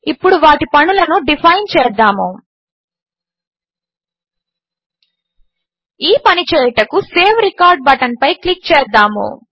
ఇప్పుడు వాటి పనులను డిఫైన్ చేద్దాము ఈ పని చేయుటకు సేవ్ రికార్డ్ బటన్పై క్లిక్ చేద్దాము